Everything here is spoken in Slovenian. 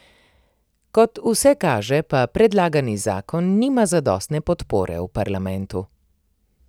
Kot vse kaže pa predlagani zakon nima zadostne podpore v parlamentu.